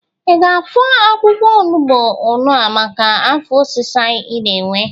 Ị ga-afọ akwụkwọ ọnụgbụ ñụa maka afọ ọsịsa ị na-ewe?